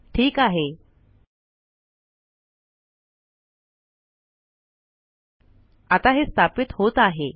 ठीक आहे आता हे स्थापित होत आहे